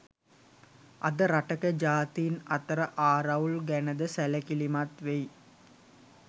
අද රටක ජාතීන් අතර ආරවුල් ගැන ද සැලකිලිමත් වෙයි